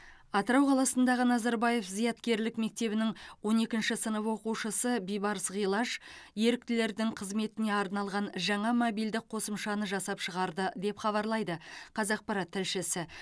атырау қаласындағы назарбаев зияткерлік мектебінің он екінші сынып оқушысы бибарыс ғилаж еріктілердің қызметіне арналған жаңа мобильдік қосымшаны жасап шығарды деп хабарлайды қазақпарат тілшісі